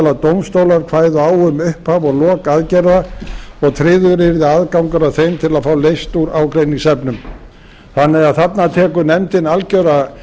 að dómstólar kvæðu á um upphaf og lok aðgerða og tryggður yrði aðgangur að þeim til að fá leyst úr ágreiningsefnum þarna tekur því nefndin algjörlega